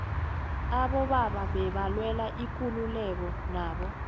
abobaba bebalwela ikululeko nabo